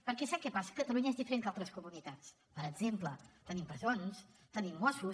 perquè sap què passa catalunya és diferent que altres comunitats per exemple tenim presons tenim mossos